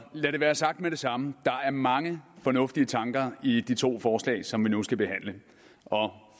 lad det være sagt med det samme der er mange fornuftige tanker i de to forslag som vi nu skal behandle og